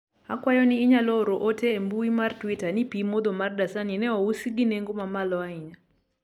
akwayo ni inyalo oro ote e mbui mar twita ni pii modho mar dasani ne ousi gi nengo mamalo ahinya